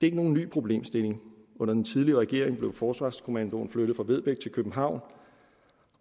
ikke nogen ny problemstilling under den tidligere regering blev forsvarskommandoen flyttet fra vedbæk til københavn